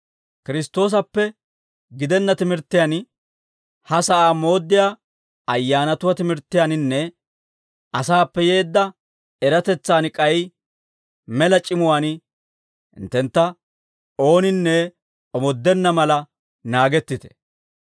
Kiristtoosappe gidenna timirttiyaan, ha sa'aa mooddiyaa ayyaanatuwaa timirttiyaaninne, asaappe yeedda eratetsan, k'ay mela c'imuwaan hinttentta ooninne omoodenna mala naagettite.